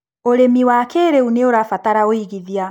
ũrĩmi wa kĩrĩu nĩũrabatara ũigithia.